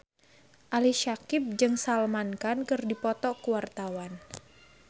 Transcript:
Ali Syakieb jeung Salman Khan keur dipoto ku wartawan